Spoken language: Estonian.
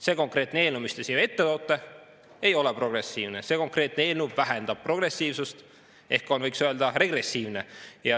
See eelnõu, mille te siia toote, ei ole progressiivne, see eelnõu vähendab progressiivsust ehk on, võiks öelda, regressiivne.